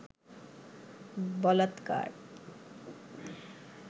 বলাৎকার